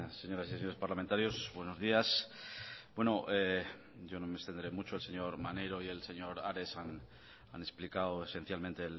señoras y señores parlamentarios buenos días bueno yo no me extenderé mucho el señor maneiro y el señor ares han explicado esencialmente